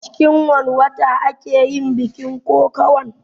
A cikin wanne wata ake yin bikin kokawan?